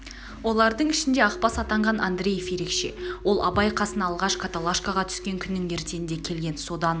олардың ішінде ақбас атанған андреев ерекше ол абай қасына алғаш каталашкаға түскен күнінің ертеңінде келген содан